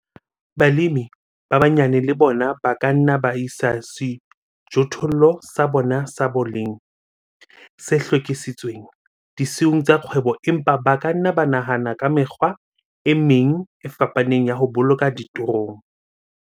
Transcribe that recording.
Balemi ba banyane le bona ba ka nna ba isa sejothollo sa bona sa boleng, se hlwekisitsweng, disiung tsa kgwebo empa ba ka nna ba nahana ka mekgwa e meng e fapaneng ya ho boloka ditorong.